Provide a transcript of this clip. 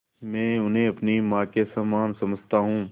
मैं उन्हें अपनी माँ के समान समझता हूँ